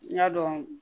N y'a dɔn